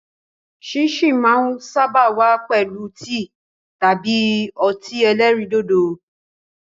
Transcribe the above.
Síìnsìn máa ń sáábà wá pẹ̀lú tíì tàbí ọtí ẹlẹ́rìndòdò.